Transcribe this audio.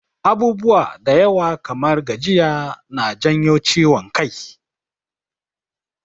Abubuwa da yawa kamar gajiya na janyo ciwon kai.